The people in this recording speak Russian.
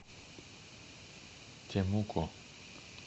темуко